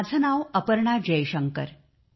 माझे नाव अपर्णा जयशंकर आहे